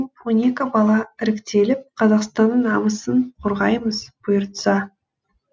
он екі бала іріктеліп қазақстанның намысын қорғаймыз бұйыртса